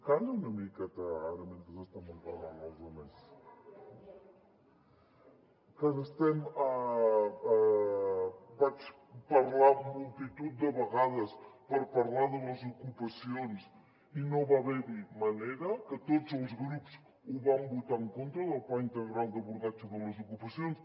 calla una miqueta ara mentre estem enraonant els altres vaig parlar multitud de vegades per parlar de les ocupacions i no va haverhi manera que tots els grups van votar en contra del pla integral d’abordatge de les ocupacions